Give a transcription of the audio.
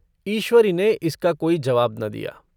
ईश्वरी ने इसका कोई जवाब न दिया।